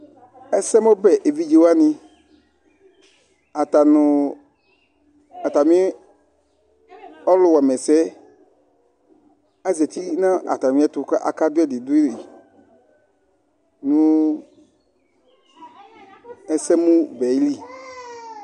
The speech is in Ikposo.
Ɛsɛmʊbɛevidze wanɩ, atanʊ atamɩ ɔlʊwamesɛ, azatɩ natamɩɛtu kakadʊɛdidui nu ɛsɛmʊbɛli